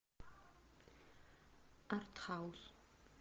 артхаус